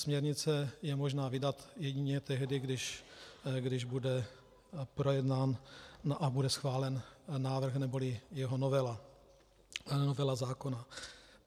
Směrnici je možné vydat jedině tehdy, když bude projednán a bude schválen návrh neboli jeho novela, novela zákona.